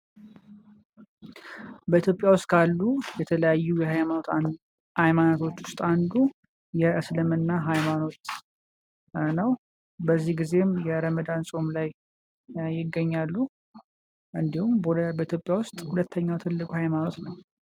በኢትዮጵያ ዉስጥ ካሉ የተለያዩ ሀይማኖቶች ዉስጥ አንዱ የእስልምና ሀይማኖት ነዉ። በዚህ ጊዜም የረመዳን ፆም ላይ ይገኛሉ። እንዲሁም በኢትዮጵያ ዉስጥ ሁለተኛዉ ትልቁ ሀይማኖት ነዉ።